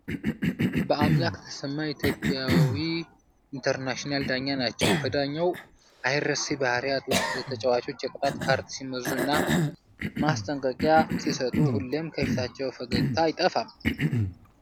በአምላክ ተሰማ ኢትዮጵያዊ ኢንተርናሽናልና ዳኛ ናቸው። ከዳኛው አይረሴ ባህርያት ውስጥ ለተጫዋቾች የቅጣት ካርድ ሲመዙ እና ማስጠንቀቂያ ሲሰጡ ሁሌም ከፊታቸው ፈገግታ አይጠፋም።